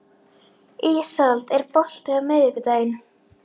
Ísold, er bolti á miðvikudaginn?